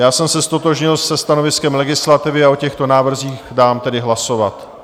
Já jsem se ztotožnil se stanoviskem legislativy a o těchto návrzích dám tedy hlasovat.